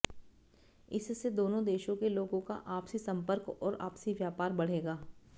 इससे दोनों देशों के लोगों का आपसी सम्पर्क और आपसी व्यापार बढ़ेगा